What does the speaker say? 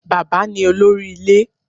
Bàbá ni olórí ilé